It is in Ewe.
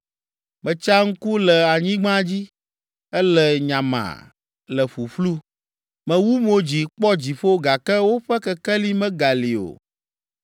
Metsa ŋku le anyigba dzi, ele nyamaa, le ƒuƒlu. Mewu mo dzi kpɔ dziƒo gake woƒe kekeli megali o.